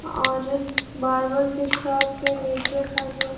और बार बार केशाब के नीचे का जल--